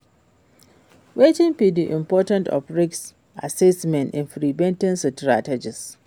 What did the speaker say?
Wetin be di importance of risk assessment in prevention strategies?